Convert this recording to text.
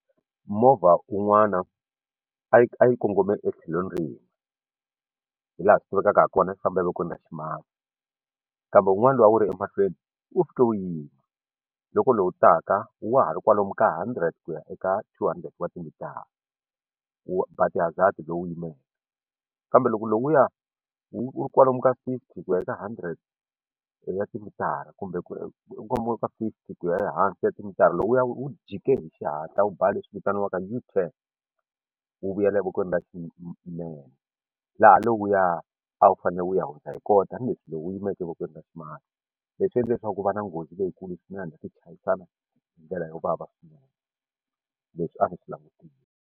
Movha un'wana a yi a yi kongome etlhelweni rin'we hi laha swi tivekaka hi kona yi famba evokweni ra ximatsi kambe wun'wana lowu a wu ri emahlweni wu fike wu yima loko lowu taka wa ha ri kwalomu ka hundred ku ya eka two hundred wa timitara wu ba ti-hazard lowu yimeke kambe loko lowuya wu ri kwalomu ka fifty ku ya eka hundred ya timitara kumbe ku u ka fifty ku ya ehansi ka timitara lowuya wu wu jikeli hi xihatla u ba leswi vitaniwaka U-turn wu vuyela evokweni ra xinene laha lowuya a wu fanele wu ya hundza hi koho tanihileswi lowu wu yimeke evokweni ra ximatsi leswi endla leswaku ku va na nghozi leyikulu swinene ti chayisana hi ndlela yo vava swinene leswi a ndzi swi langutile.